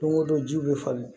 Don o don ji bɛ falen